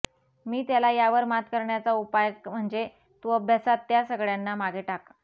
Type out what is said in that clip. मी त्याला यावर मात करण्याचा उपाय म्हणजे तू अभ्यासात त्या सगळ्यांना मागे टाक